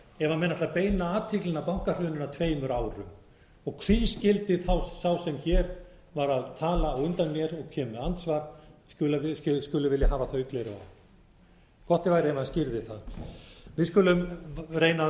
menn ætla að beina athyglinni að bankahruninu að tveimur árum hví skyldi þá sá sem hér var að tala á undan mér og kemur með andsvar vilja hafa þau gleraugu á gott væri ef hann skýrði það við skulum reyna